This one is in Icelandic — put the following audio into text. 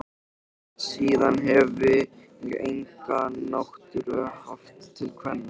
Síðan hefi ég enga náttúru haft til kvenna.